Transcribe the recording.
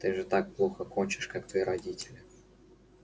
ты же плохо кончишь как твои родители